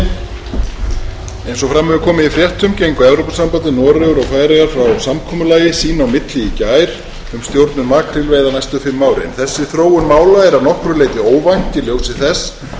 samkomulagi sín á milli í gær um stjórnun makrílveiða næstu fimm árin þessi þróun mála er að nokkru leyti óvænt í ljósi þess að fyrir rúmri viku slitnaði